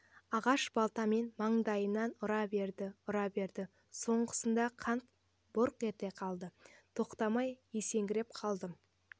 ағаш балтамен маңдайымнан ұра берді ұра берді соңғысында қан бұрқ ете қалды тоқтамай есеңгіреп қалдым